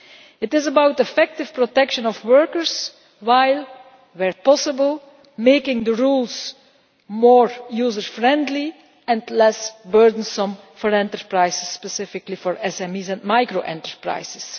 This is about the effective protection of workers while, where possible, making the rules more user friendly and less burdensome for enterprises, and specifically for SMEs and micro enterprises.